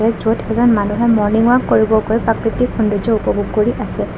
য'ত এজন মানুহে মৰ্নিং ৱাক কৰিবগৈ প্ৰাকৃতিক সৌন্দৰ্য্য উপভোগ কৰি আছে।